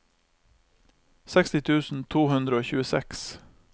seksti tusen to hundre og tjueseks